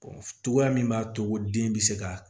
cogoya min b'a to den bɛ se ka